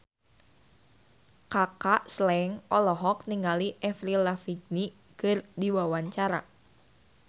Kaka Slank olohok ningali Avril Lavigne keur diwawancara